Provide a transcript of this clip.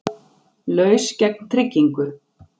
Laus gegn tryggingu